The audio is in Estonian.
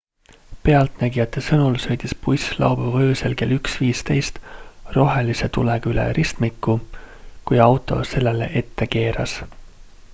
pealtnägijate sõnul sõitis buss laupäeva öösel kell 1.15 rohelise tulega üle ristmiku kui auto sellele ette keeras